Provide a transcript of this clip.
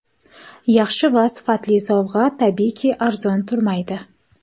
Yaxshi va sifatli sovg‘a tabiiyki arzon turmaydi.